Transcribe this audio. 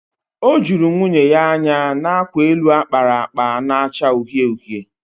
O juru nwunye ya anya n'akwa elu akpara akpa na-acha uhie uhie